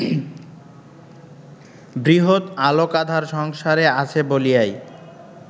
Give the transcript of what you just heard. বৃহৎ আলোকাধার সংসারে আছে বলিয়াই